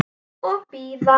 Og bíða.